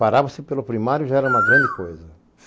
Parava-se pelo primário já era uma grande coisa.